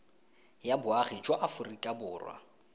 ya boagi jwa aforika borwa